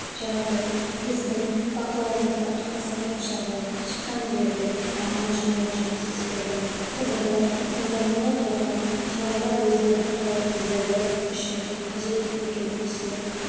жағдай біздің бақылауымызда қарасан ошағы шыққан жерде маман жұмыла жұмыс істеді тұрғындар қолданылып жатқан шаралар өздерінің қауіпсіздігі үшін қажет екенін түсініп